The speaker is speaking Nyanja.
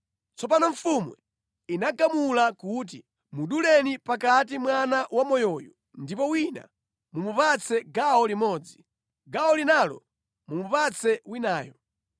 Tsono mfumu inagamula kuti, “Muduleni pakati mwana wamoyoyu ndipo wina mumupatse gawo limodzi, gawo linalo mumupatse winayo.”